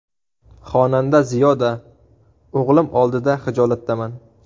Xonanda Ziyoda: O‘g‘lim oldida xijolatdaman.